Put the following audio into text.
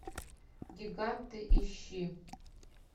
гиганты ищи